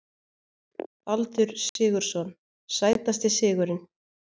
Baldur Sigurðsson Sætasti sigurinn?